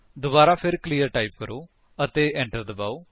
ਦੁਬਾਰਾ ਫਿਰ clear type ਕਰੋ ਅਤੇ enter ਦਬਾਓ